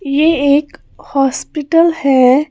यह एक हॉस्पिटल है।